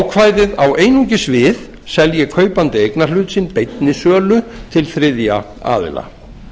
ákvæðið á einungis við selji kaupandi eignarhlut sinn beinni sölu til þriðja aðila